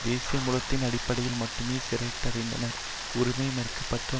தேசிய மூலத்தின் அடிப்படையில் மட்டுமே சிறையிடப்பட்டனர் உரிமை மறுக்கப்பட்டனர்